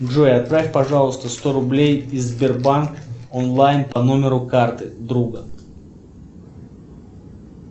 джой отправь пожалуйста сто рублей и сбербанк онлайн по номеру карты друга